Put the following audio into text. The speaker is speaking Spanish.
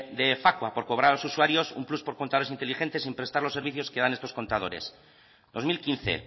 de facua por cobrar a los usuarios un plus por contadores inteligentes sin prestar los servicios que dan estos contadores dos mil quince